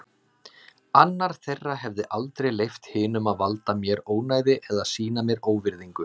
Annar þeirra hefði aldrei leyft hinum að valda mér ónæði eða sýna mér óvirðingu.